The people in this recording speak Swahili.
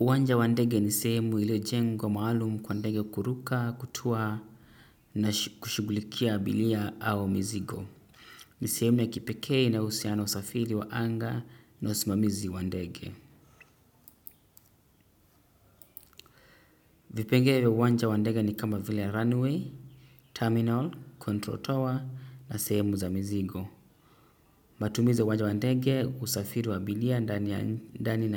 Uwanja wandege ni sehemu ilo jengwa maalumu kwa wandege kuruka, kutua na kushigulikia abilia au mizigo. Ni sehemu ya kipeke inaohusiana usafiri wa anga na usimamizi wandege. Vipenge vya uwanja wandege ni kama vile runway, terminal, control tower na sehemu za mizigo. Matumizi ya uwanja wa ndege usafiri wa abiria ndani